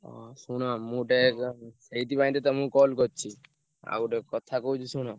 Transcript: ହଁ ଶୁଣ ମୁଁ ଗୋଟେ ଏ ସେଇଥିପାଇଁ ତ ତମୁକୁ call ~କରି ~ଛି। ଆଉ ଗୋଟେ କଥା କହୁଛି ଶୁଣ।